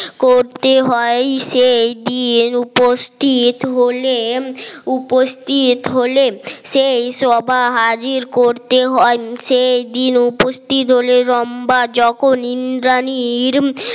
করতে হয় সেই দিনের উপস্থিত হলে উপস্থিত হলে সেই সবা হাজির করতে হয় সেদিন উপস্থিত হলে লম্বা যখন ইন্দ্রাণীর